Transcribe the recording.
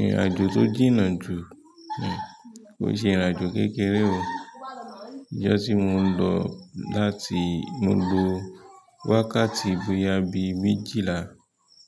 Ìrìn àjò tó jìnnà jù, kòó ṣe ìrìn àjò kékeré o. Ijọ́ tí mo lọ láti mo lo wákàtí bóyá bíi méjìlá.